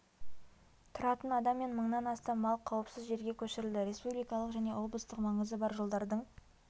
тұратын адам мен мыңнан астам мал қауіпсіз жерге көшірілді республикалық және облыстық маңызы бар жолдардың